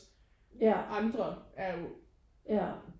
Ja ja